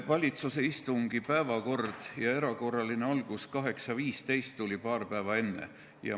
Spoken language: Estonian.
Valitsuse istungi päevakord ja selle erakorraline algusaeg kell 8.15 selgusid paar päeva varem.